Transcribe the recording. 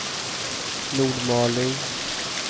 Nordmaling